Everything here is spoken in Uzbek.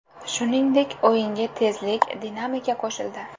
Shuningdek, o‘yinga tezlik, dinamika qo‘shildi.